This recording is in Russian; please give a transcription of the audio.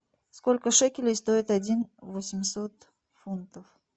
сколько шекелей стоит один восемьсот фунтов